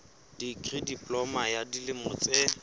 dikri diploma ya dilemo tse